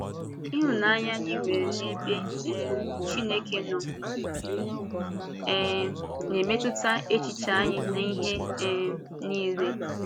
Ịhụnanya anyị nwere n’ebe um Chineke nọ um na-emetụta echiche anyị n’ihe um niile.